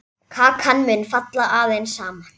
Kakan mun falla aðeins saman.